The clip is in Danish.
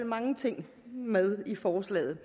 mange ting med i forslaget